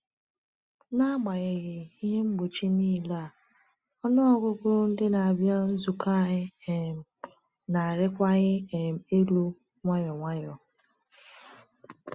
N’agbanyeghị ihe mgbochi niile a, ọnụ ọgụgụ ndị na-abịa nzukọ anyị um na-arịwanye um elu nwayọ nwayọ.